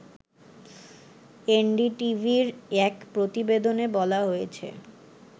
এনডিটিভির এক প্রতিবেদনে বলা হয়েছে